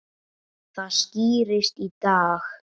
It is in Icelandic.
Það skýrist í dag.